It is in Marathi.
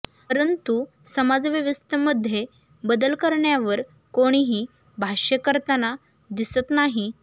परंतु समाजव्यवस्थेमध्ये बदल करण्यावर कोणीही भाष्य करताना दिसत नाही